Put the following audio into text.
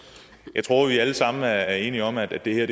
jeg tror vi alle sammen er enige om at det